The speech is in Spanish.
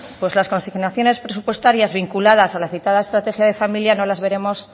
pues las consignaciones presupuestarias vinculadas a la citada estrategia de familia no las veremos